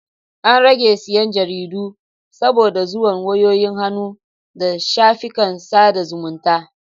An rage siyan Jaridu saboda zuwan wayoyin hannu da shafikan sada zumunta